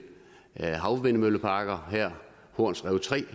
havvindmølleparker her horns rev tre